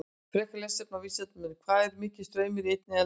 Frekara lesefni á Vísindavefnum: Hvað er mikill straumur í einni eldingu?